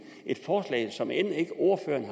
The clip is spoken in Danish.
et forslag som ordføreren